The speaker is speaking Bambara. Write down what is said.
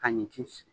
Ka ɲɔ ci sigi